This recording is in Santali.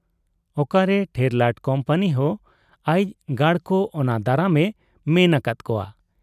ᱚᱠᱟ ᱨᱮ ᱴᱷᱮᱨᱞᱟᱴ ᱠᱩᱢᱯᱟᱹᱱᱤ ᱦᱚᱸ ᱟᱭᱤᱡ ᱜᱟᱰᱠᱚ ᱚᱱᱟ ᱫᱟᱨᱟᱢ ᱮ ᱢᱮᱱ ᱟᱠᱟᱫ ᱠᱚᱣᱟ ᱾